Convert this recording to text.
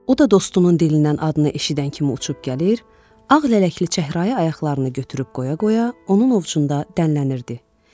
O da dostunun dilindən adını eşidən kimi uçub gəlir, ağ lələkli çəhrayı ayaqlarını götürüb qoya-qoya onun ovcunda dənlənirdi.